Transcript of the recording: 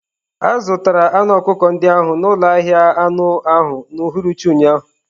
A zụtara anụ ọkụkọ ndị ahụ n'ụlọ ahịa anụ ahụ n'uhuruchi ụnyaahụ.